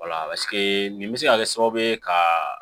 walaseke nin bɛ se ka kɛ sababu ye ka